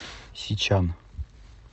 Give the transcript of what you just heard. сичан